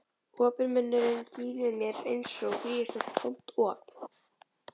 Opinn munnurinn gín við mér einsog gríðarstórt tómt op.